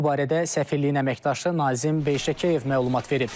Bu barədə səfirliyin əməkdaşı Nazim Beyşəkiyev məlumat verib.